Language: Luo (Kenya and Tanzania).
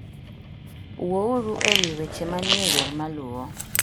Wuouru e wi weche manie wer maluwo.